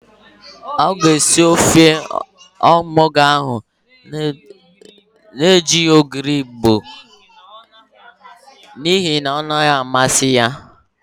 Ọ ga-esi ofe onugbo ahụ na-ejighi ogiri Igbo n'ihi na ọ naghị amasị ya.